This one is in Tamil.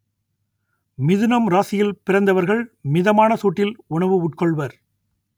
மிதுனம் ராசியில் பிறந்தவர்கள் மிதமான சூட்டில் உணவு உட்கொள்வர்